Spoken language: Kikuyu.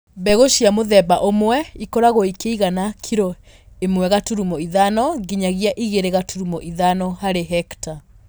Mbeũ cia mũthemba ũmwe ikoragwo ikĩigana kiro ĩmwe gaturumo ithano nginyagia ĩgĩrĩ gaturumo ithano harĩ hekta